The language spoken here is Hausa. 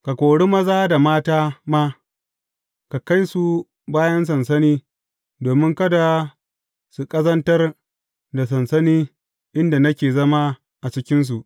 Ka kori maza da mata ma; ka kai su bayan sansani domin kada su ƙazantar da sansani inda nake zama a cikinsu.